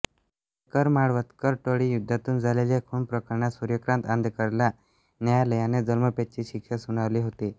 आंदेकरमाळवदकर टोळीयुद्धातून झालेल्या खूनप्रकरणात सूर्यकांत आंदेकरला न्यायालयाने जन्मठेपेची शिक्षा सुनावली होती